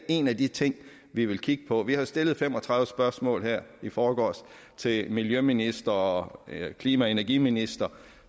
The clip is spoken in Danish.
en af de ting vi vil kigge på vi har stillet fem og tredive spørgsmål her i forgårs til miljøministeren og klima og energiministeren